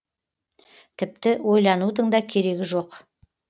тіпті ойланудың да керегі жоқ